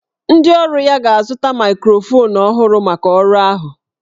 Ndị ọrụ ya ga-azụta maịkrofonu ọhụrụ maka ọrụ ahụ